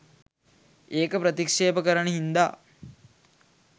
ඒක ප්‍රතික්ෂේප කරන හින්දා